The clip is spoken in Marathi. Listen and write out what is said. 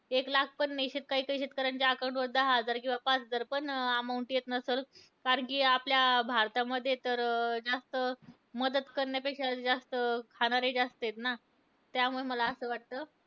एक लाख पण नाही. काहीकाही शेतकऱ्यांच्या account वर दहा हजार किंवा पाच हजार पण amount येत नसलं. कारण कि आपल्या भारतामध्ये तर अं जास्त मदत करण्यापेक्षा जास्त खाणारे जास्त आहेत ना. त्यामुळे मला असं वाटतं.